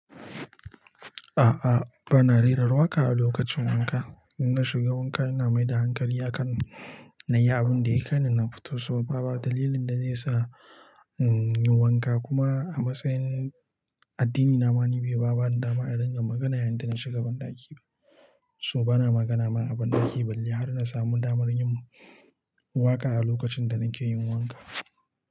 A'a, bana rera waka a lokacin wanka. In na shiga wanka, ina mai da hankali a kan na yi abin da ya kaini, na fito, so ba ba dalilin da zai sa, in yi wanka kuma a matsayin addini na, ma ni bai bani dama a dinga magana yayin da na shiga banɗaki ba. So bana magana ma a banɗaki balle har na samu damar yin waka a lokacin da nake yin wanka.